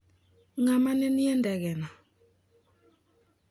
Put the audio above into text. Ng'a ma ne nie e ndege no ?